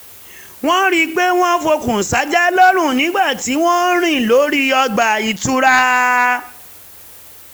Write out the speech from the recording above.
wọ́n rí i pé wọ́n fọkùn sájà lọ́rùn nígbà tí wọ́n ń rìn lórí ọgbà ìtura